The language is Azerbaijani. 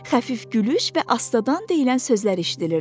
Xəfif gülüş və astadan deyilən sözlər eşidilirdi.